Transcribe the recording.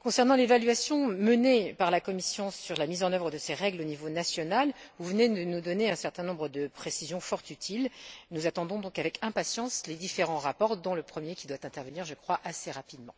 concernant l'évaluation menée par la Commission sur la mise en œuvre de ces règles au niveau national, vous venez de nous donner un certain nombre de précisions fort utiles. Nous attendons donc, avec impatience, les différents rapports dont le premier qui doit intervenir, je crois, assez rapidement.